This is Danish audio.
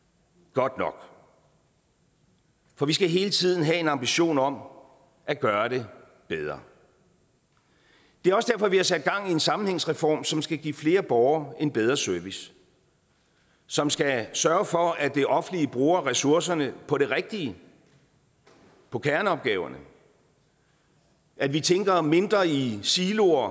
godt nok for vi skal hele tiden have en ambition om at gøre det bedre det er også derfor vi har sat gang i en sammenhængsreform som skal give flere borgere en bedre service og som skal sørge for at det offentlige bruger ressourcerne på det rigtige på kerneopgaverne at vi tænker mindre i siloer